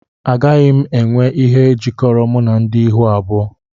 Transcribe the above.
Agaghị m enwe ihe jikọrọ m na ndị ihu abụọ